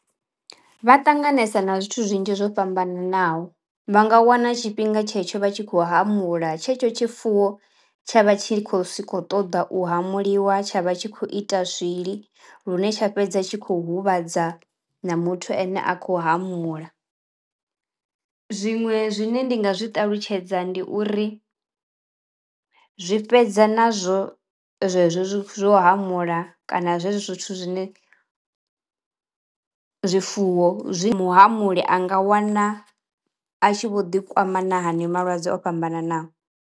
Vha ṱanganesa na zwithu zwinzhi zwo fhambananaho. Vha nga wana tshifhinga tshetsho vha tshi khou hamula tshetsho tshifuwo tsha vha tshi khou si khou ṱoḓa u hamuliwa tsha vha tshi khou ita swiḽi lune tsha fhedza tshi kho huvhadza na muthu ene a khou hamula. Zwiṅwe zwine ndi nga zwi ṱalutshedza ndi uri zwi fhedza nazwo zwezwo zwo hamula kana zwezwo zwithu zwine zwifuwo zwi mu hamuli a nga wana a tshi vho ḓi kwama na haneyo malwadze o fhambananaho.